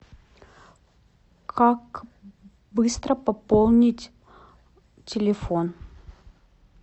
как быстро пополнить телефон